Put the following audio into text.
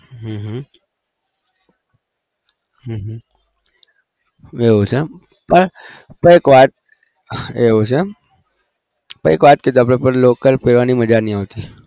હમ હમમ હમમ એવું છે પણ એક વાત એવું છે એમ લોકલ પેરવાની મજા નહી આવતી